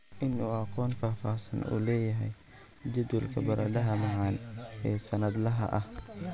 In uu aqoon faahfaahsan u leeyahay jadwalka baradhada macaan ee sannadlaha ah